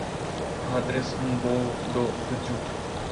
адрес мбоу до ддют